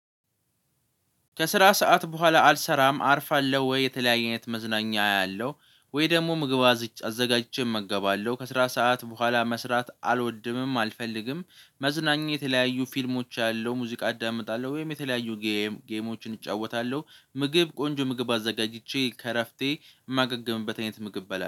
ከስራ ሰዓት በኋላ አልሰራም አርፋለሁ ወይ የተለያየ አይነት መዝናኛ አያለሁ? ወይ ደግሞ ምግብ አዘጋጅቼ እመገባለሁ ከስራ ሰዓት በኋላ መስራት አልወድምም አልፈልግም። መዝናኛ የተለያዩ ፊልሞች አሉ ሙዚቃ አዳምጣለሁ ወይም የተለያዩ ጌሞችን እጫወታለሁ። ምግብ ቆንጆ ምግብ አዘጋጅቼ ከእረፍቴ የማገገምበት አይነት ምግብ እበላለሁ